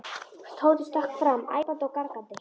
Tóti stökk fram æpandi og gargandi.